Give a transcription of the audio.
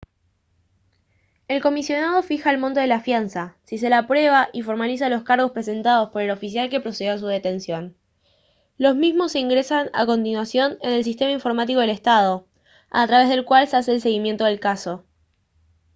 el comisionado fija el monto de la fianza si se la aprueba y formaliza los cargos presentados por el oficial que procedió a su detención los mismos se ingresan a continuación en el sistema informático del estado a través del cual se hace el seguimiento del caso